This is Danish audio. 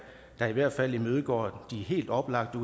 der i hvert fald imødegår de helt oplagte